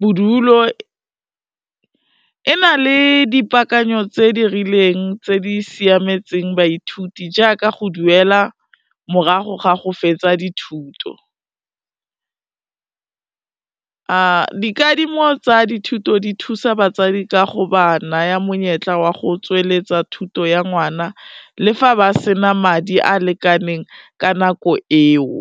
bodulo, e na le dipaakanyo tse di rileng tse di siametseng baithuti, jaaka go duela morago ga go fetsa dithuto. Dikadimo tsa dithuto di thusa batsadi ka go ba naya monyetla wa go tsweletsa thuto ya ngwana le fa ba sena madi a lekaneng ka nako eo.